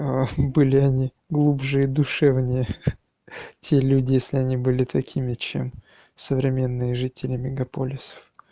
а были они глубже и душевнее те люди если они были такими чем современные жители мегаполисов